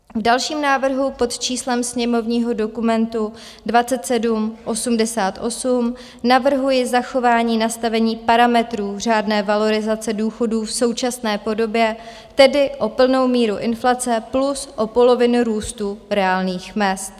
V dalším návrhu pod číslem sněmovního dokumentu 2788 navrhuji zachování nastavení parametrů řádné valorizace důchodů v současné podobě, tedy o plnou míru inflace plus o polovinu růstu reálných mezd.